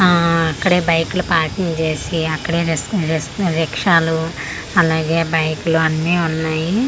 ఆఆ అక్కడే బైక్లు పార్కింగ్ చేసి అక్కడే రిసక్ రిసక్ రిక్షాలు అలాగే బైక్ లు అన్ని ఉన్నాయి.